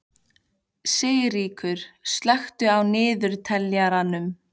Sigríkur, slökktu á niðurteljaranum.